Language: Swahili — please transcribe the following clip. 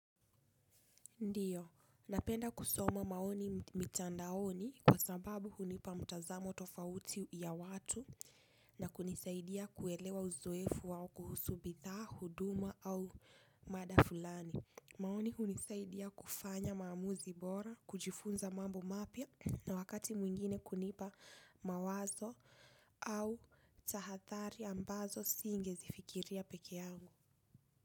Ndiyo, napenda kusoma maoni mitandaoni kwa sababu hunipa mtazamo tofauti ya watu na kunisaidia kuelewa uzoefu wao kuhusu bithaa, huduma au mada fulani. Maoni hunisaidia kufanya maamuzi bora, kujifunza mambo mapya na wakati mwingine kunipa mawazo au tahathari ambazo singezifikiria peke yangu.